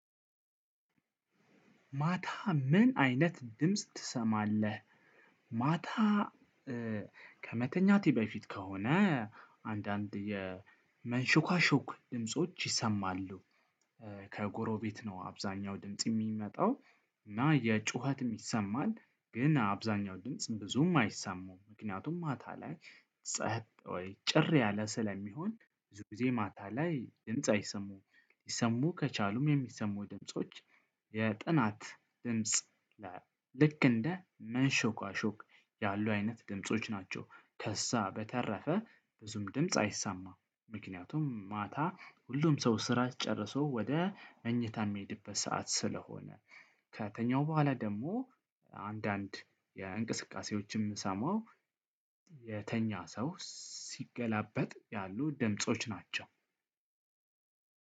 ማታ ምን አይነት ድምጽ ትሰማለህ? ማታ ከመተኛቴ በፊት ከሆነ አንዳንድ የመንሾካሾክ ድምጾች ይሰማሉ። ከጎረቤት ነው አብዛኛው ድምጽ የሚመጣው እና የጩኸትም ይሰማል። ግን አብዛኛው ድምጽ ብዙም አይሰሙም ምክንያቱም ማታ ላይ ጸጥ ወይ ጭር ያለ ስለሚሆን ብዙ ጊዜ ማታ ላይ ድምጽ አይሰሙም። ሊሰሙ ከቻሉም የሚሰሙ ድምጾች የጥናት ድምጽ ላይ ልክ እንደ መንሾካሾክ ያሉ አይነት ድምጾች ናቸው። ከዛ በተረፈ ብዙም ድምጽ አይሰማም። ምክንያቱም ማታ ሁሉም ሰው ስራ ጨርሶ ወደ መኝታ የሚሄድበት ሰዓት ስለሆነ። ከተኛው በኋላ ደግሞ አንዳንድ የእንቅስቃሴዎችም ሰማው። የተኛ ሰው ሲገላበጥ ያሉ ድምጾች ናቸው።